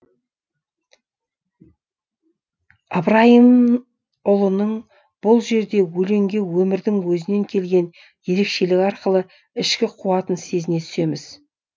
ыбырайымұлының бұл жерде өлеңге өмірдің өзінен келген ерекшелігі арқылы ішкі қуатын сезіне түсеміз